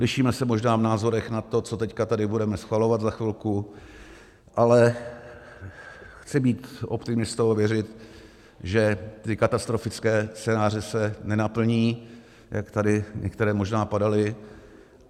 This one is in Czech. Lišíme se možná v názorech na to, co teď tady budeme schvalovat za chvilku, ale chci být optimistou a věřit, že ty katastrofické scénáře se nenaplní, jak tady některé možná padaly.